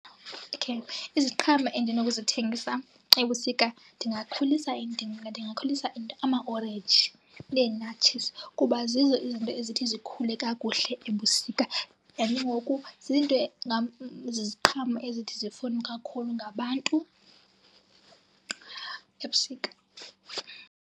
Okay. Iziqhamo endinokuzithengisa ebusika ndingakhulisa amaorenji neenatshizi kuba zizo izinto ezithi zikhule kakuhle ebusika. And ke ngoku zinto ziziqhamo ezithi zifunwe kakhulu ngabantu ebusika.